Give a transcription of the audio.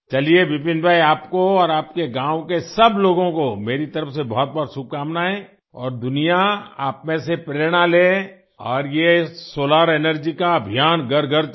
चलिए विपिन भाई आपको और आपके गाँव के सब लोगों को मेरे तरफ़ से बहुतबहुत शुभकामनाएं और दुनिया आप में से प्रेरणा ले और ये सोलार एनर्जी का अभियान घरघर चले